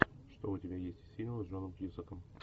что у тебя есть из фильмов с джоном кьюсаком